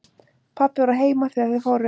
Pabbi var heima þegar þeir fóru.